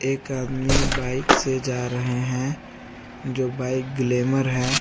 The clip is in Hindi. एक आदमी बाइक से जा रहे हैं जो बाइक ग्लैमर है।